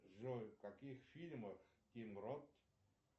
джой в каких фильмах тим рот